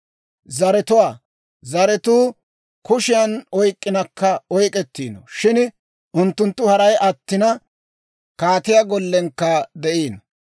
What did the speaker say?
Zaretuwaa, zaratuu kushiyan oyk'k'inakka oyk'ettiino; shin unttunttu haray attina, kaatiyaa gollenkka de'iino.